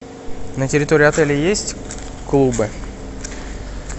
на территории отеля есть клубы